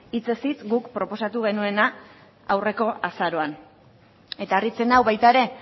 hitzez hitz guk proposatu genuena aurreko azaroan eta harritzen nau baita ere